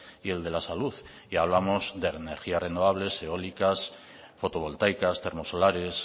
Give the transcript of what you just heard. y el de la salud y hablamos de energías renovables eólicas fotovoltaicas termo solares